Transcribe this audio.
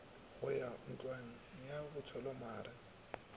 go ya ntlwang ya botshwelamare